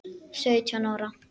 Sautján ára.